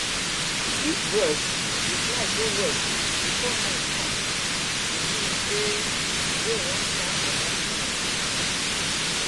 if birds dey fly go west before night come e mean sey rain wan start for dat side